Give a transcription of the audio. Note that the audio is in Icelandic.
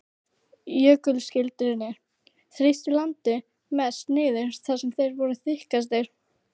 Jökulskildirnir þrýstu landinu mest niður þar sem þeir voru þykkastir.